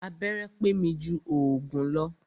Abẹ́rẹ́ pé mi jù òògùn lọ.